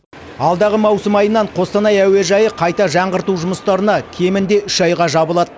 алдағы маусым айынан қостанай әуежайы қайта жаңғырту жұмыстарына кемінде үш айға жабылады